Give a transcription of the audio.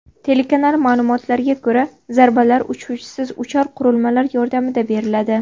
Telekanal ma’lumotlariga ko‘ra, zarbalar uchuvchisiz uchar qurilmalar yordamida beriladi.